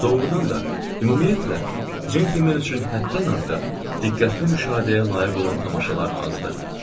Doğrudan da, ümumiyyətlə, centlmen üçün həddən artıq diqqətli müşahidəyə layiq olan tamaşalar azdır.